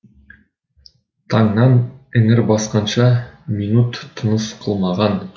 таңнан іңір басқанша минут тыныс қылмаған